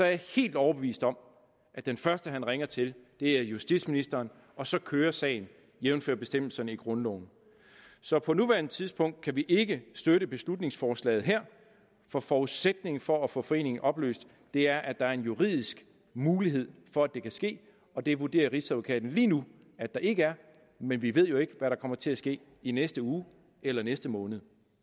jeg helt overbevist om at den første han ringer til er justitsministeren og så kører sagen jævnfør bestemmelserne i grundloven så på nuværende tidspunkt kan vi ikke støtte beslutningsforslaget her for forudsætningen for at få foreningen opløst er at der er en juridisk mulighed for at det kan ske og det vurderer rigsadvokaten lige nu at der ikke er men vi ved jo ikke hvad der kommer til at ske i næste uge eller næste måned